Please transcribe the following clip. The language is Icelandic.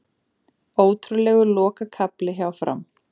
Ótrúlegur lokakafli hjá Fram